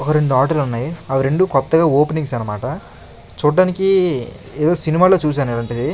ఒక రెండు ఆటో లున్నయి. అవి రెండూ కొత్తగా ఓపెనింగ్స్ అన్నమాట చూడడానికి ఎదో సినిమా లో చూసాను ఇలాంటిది.